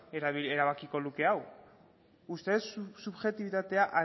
erabakiko luke hau uste dut subjektibitatea